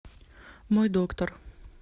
мой доктор